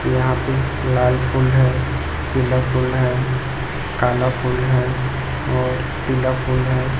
यहां पे लाल फूल है पीला फूल है काला फूल है और पीला फूल है।